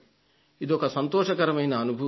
ఇదొక సంతోషకరమైన అనుభూతి